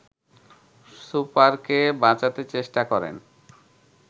সুপারকে বাঁচাতে চেষ্টা করেন